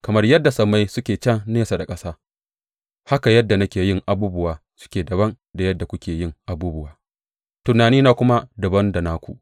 Kamar yadda sammai suke can nesa da ƙasa, haka yadda nake yin abubuwa suke dabam da yadda kuke yin abubuwa tunanina kuma dabam da naku.